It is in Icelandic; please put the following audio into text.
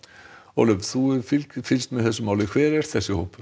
Ólöf þú hefur fylgst fylgst með þessu máli hver er þessi hópur